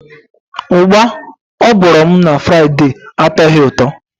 Ugba o gworo m na Fraide atoghi uto.